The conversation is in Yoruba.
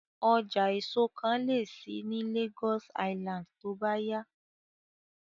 Ọjà èso kan lè ṣí ní Lagos Island tó bá yá